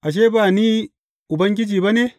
Ashe ba Ni Ubangiji ba ne?